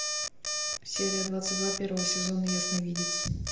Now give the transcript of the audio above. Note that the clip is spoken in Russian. серия двадцать два первого сезона ясновидец